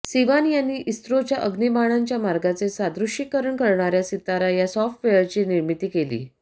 सिवान यांनी इस्रोच्या अग्निबाणांच्या मार्गाचे सादृश्यीकरण करणाऱ्या सितारा या सॉफ्टवेअरची निर्मिती केली